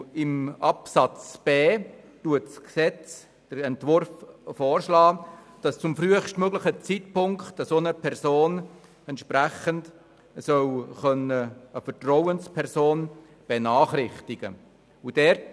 In Absatz 1 Buchstabe b schlägt der Gesetzesentwurf vor, dass eine Person zum frühestmöglichen Zeitpunkt eine Vertrauensperson benachrichtigen kann.